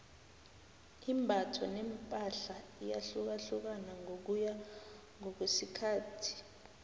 imbatho nepahla iyahlukahlukana ngokuya ngokwesikhathi